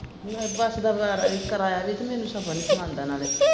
ਨਹੀਂ bus ਦਾ ਕਿਰਾਇਆ ਵੀ ਤੇ ਮੈਨੂੰ ਸਫ਼ਰ ਨੀ ਸਿਖਾਉਂਦਾ ਨਾਲੇ।